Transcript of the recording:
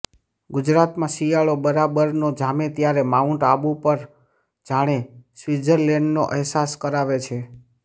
ગુજરાતમાં શિયાળો બરાબરનો જામે ત્યારે માઉન્ટ આબુ પણ જાણે સ્વિત્ઝરલેન્ડનો અહેસાસ કરાવે છે